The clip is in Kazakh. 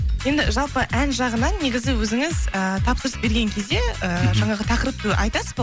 енді жалпы ән жағынан негізі өзіңіз ііі тапсырыс берген кезде ііі жаңағы тақырыпты айтасыз ба